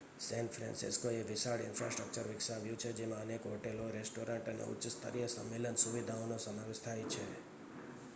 San ફ્રાન્સિસ્કોએ વિશાળ infrastructure વિકાવ્યું છે જેમાં અનેક હોટેલો રેસ્ટોરેન્ટ્સ અને ઉચ્ચ-સ્તરીય સંમેલન સુવિધાઓનો સમાવેશ થાય છે